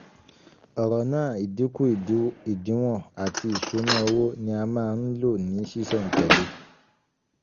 ọ̀rọ̀ náà ìdínkù ìdínwọ̀n àti ìṣúná owó ní a máa ń lò ní sísẹ̀ǹtẹ̀lé.